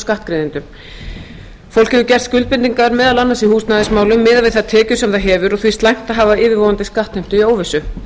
skattgreiðendum fólk hefur gert skuldbindingar meðal annars í húsnæðismálum miðað við þær tekjur sem það hefur og finnst slæmt að hafa yfirvofandi skattheimtu í óvissu